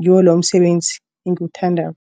ngiwo umsebenzi engiwuthandako.